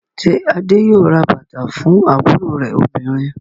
Ṣé Adé yóò ra bàtà fún àbúrò rẹ̀ obìnrin?